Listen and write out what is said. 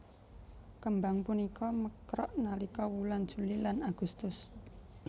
Kembang punika mekrok nalika wulan Juli lan Agustus